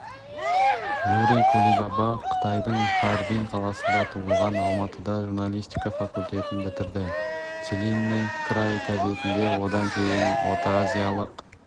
юрий кулибаба қытайдың харбин қаласында туылған алматыда журналистика факультетін бітірді целинный край газетінде одан кейін ортаазиялық